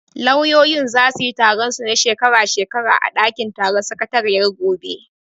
Lauyoyin zasu yi taron su na shekara shekara a ɗakin taron sakatariyar gobe.